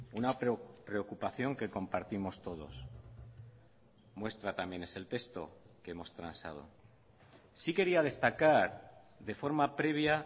una preocupación que compartimos todos muestra también es el texto que hemos transado sí quería destacar de forma previa